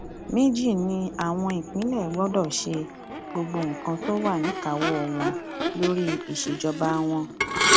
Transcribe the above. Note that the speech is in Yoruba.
méjì ni àwọn ìpínlẹ gbọdọ ṣe gbogbo nǹkan tó wà níkàáwọ wọn lórí ìṣèjọba wọn